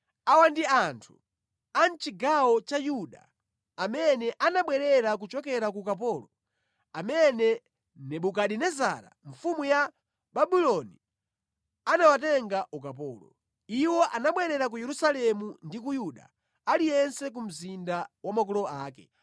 Awa ndi anthu a mʼchigawo cha Yuda amene anabwerera kuchokera ku ukapolo amene Nebukadinezara mfumu ya Babuloni anawatenga ukapolo. Iwo anabwerera ku Yerusalemu ndi ku Yuda, aliyense ku mzinda wa makolo ake.